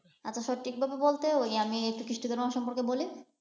আচ্ছা সঠিক ভাবে বলতে ঐ আমি খ্রিষ্ট ধর্ম সম্পর্কে বলি?